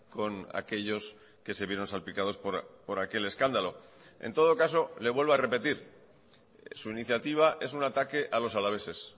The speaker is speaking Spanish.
con aquellos que se vieron salpicados por aquel escándalo en todo caso le vuelvo a repetir su iniciativa es un ataque a los alaveses